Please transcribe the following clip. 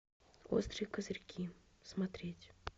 острые козырьки смотреть